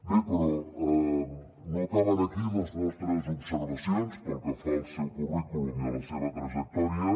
bé però no acaben aquí les nostres observacions pel que fa al seu currículum i a la seva trajectòria